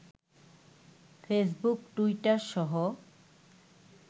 Facebook, Twitter সহ